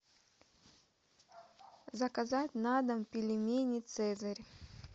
заказать на дом пельмени цезарь